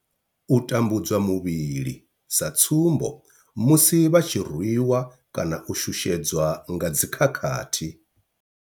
U tambudzwa muvhili, sa tsumbo, musi vha tshi rwiwa kana u shushedzwa nga dzi khakhathi.